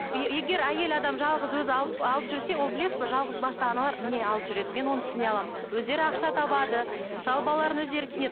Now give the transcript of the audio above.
егер әйел адам жалғыз өзі алып алып жүрсе ол білесіз бе жалғыз басты аналар міне алып жүреді мен оны түсіне аламын өздері ақша табады мысалы балаларын өздері кинеді